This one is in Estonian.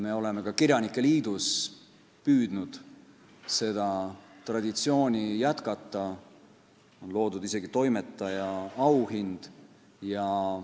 Me oleme ka kirjanike liidus püüdnud seda traditsiooni jätkata, on loodud isegi toimetaja auhind.